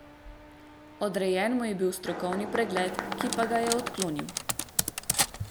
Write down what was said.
Odrejen mu je bil strokovni pregled, ki pa ga je odklonil.